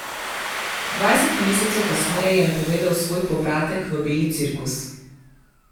Dvajset mesecev kasneje je napovedal svoj povratek v beli cirkus.